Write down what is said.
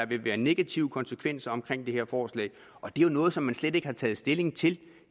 vil være de negative konsekvenser af det her forslag og det er jo noget som man slet ikke har taget stilling til